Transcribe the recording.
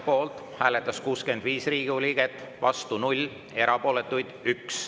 Poolt hääletas 65 Riigikogu liiget, vastu 0, erapooletuks jäi 1.